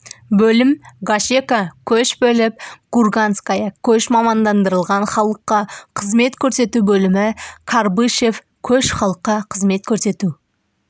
бөлім гашека көш бөлім курганская көш мамандандырылған халыққа қызмет көрсету бөлімі карбышев көш халыққа қызмет көрсету